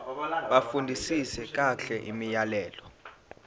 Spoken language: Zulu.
bafundisise kahle imiyalelo